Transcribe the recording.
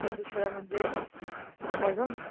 ते दुसरं म्हणजे काय ग,